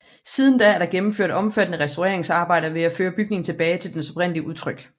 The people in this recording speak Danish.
Siden da er der gennemført omfattende restaureringsarbejder for at føre bygningen tilbage til dens oprindelige udtryk